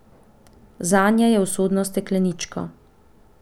Zanje je usodna steklenička.